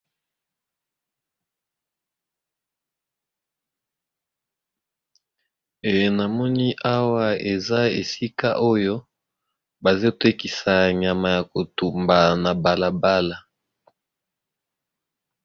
Namoni awa eza esika oyo bazo tekisa nyama yakotumba na balabala